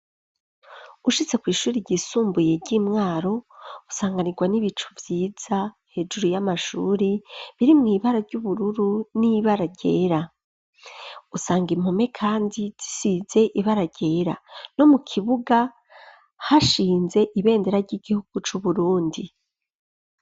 Ushitse kw'ishure ry'isumbuye ry'intwaro, usanganirwa n'ibicu vyiza hejuru y'amashure birimw'ibara ry'ubururu n'ibara ryera, usanga impome kandi zisize ibara ryera no mu kibuga hashinze ibendera ry'igihugu c'uburundi.